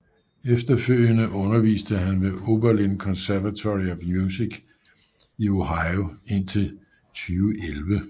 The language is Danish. Efterfølgende underviste han ved Oberlin Conservatory of Music i Ohio indtil 2011